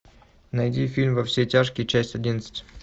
найди фильм во все тяжкие часть одиннадцать